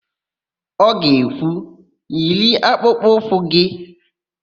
Ọ ga-ekwu, "yiri akpụkpọụkwụ gị"!